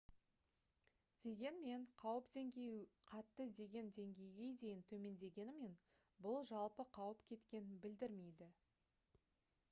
дегенмен қауіп деңгейі қатты деген деңгейге дейін төмендегенімен бұл жалпы қауіп кеткенін білдірмейді»